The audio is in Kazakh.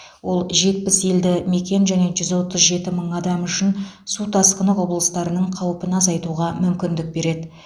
ол жетпіс елді мекен және жүз отыз жеті мың адам үшін су тасқыны құбылыстарының қаупін азайтуға мүмкіндік береді